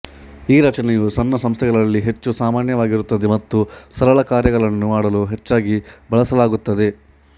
ಈ ರಚನೆಯು ಸಣ್ಣ ಸಂಸ್ಥೆಗಳಲ್ಲಿ ಹೆಚ್ಚು ಸಾಮಾನ್ಯವಾಗಿರುತ್ತದೆ ಮತ್ತು ಸರಳ ಕಾರ್ಯಗಳನ್ನು ಮಾಡಲು ಹೆಚ್ಚಾಗಿ ಬಳಸಲಾಗುತ್ತದೆ